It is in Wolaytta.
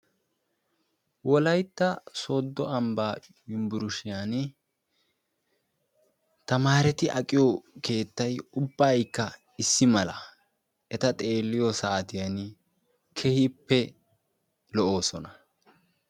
Wolaytta sooddo ambbaa yunbburushiyani tamaareeti aqiyo keettay ubbaykka issi mala. Eta xeelliyo saatiyani keehippe lo'oosona.